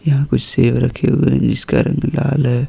यहां कुछ सेब रखे हुए हैं जिसका रंग लाल है।